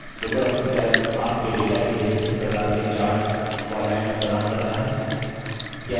Libre office calc आपके data के लिए विभिन्न प्रकार के chart formats प्रदान करता है